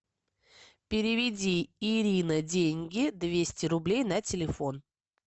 переведи ирина деньги двести рублей на телефон